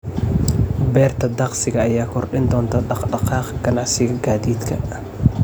Beerta tagsiga ayaa kordhin doonta dhaqdhaqaaqa ganacsiga gaadiidka.